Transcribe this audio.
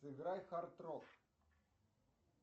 сыграй хард рок